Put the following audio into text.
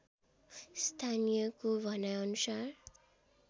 स्थानीयको भनाइ अनुसार